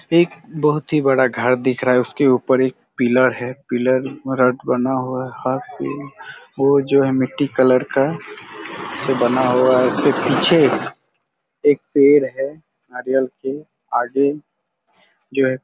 एक बहुत ही बड़ा घर दिख रहा है उसके ऊपर एक पिलर है पिलर रॉड बना हुआ यहाँ पे वो जो है मिट्टी कलर का जो बना हुआ है उसके पीछे एक पेड़ है नारियल के आगे जो है।